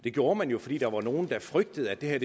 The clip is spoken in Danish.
det gjorde man jo fordi der var nogle der frygtede at det her